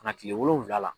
Ka na kile wolonwula la